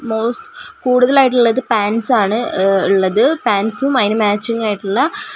കൂടതലായിട്ട്ള്ളത് pants ആണ് അ ഇള്ളത് പാന്റസും അതിന് മാച്ചിങ് ആയിട്ട്ള്ള ടോ --